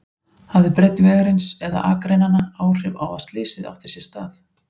Hafði breidd vegarins eða akreinanna áhrif á að slysið átti sér stað?